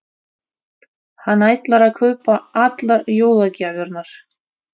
Hann ætlar að kaupa allar jólagjafirnar.